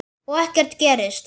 Og ekkert gerist.